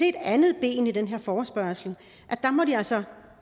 et andet ben i den her forespørgsel altså